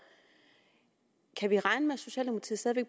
kan vi regne med